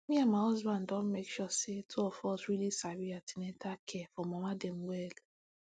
me and my husband don dey make sure say two of us really sabi an ten atal care for mama dem well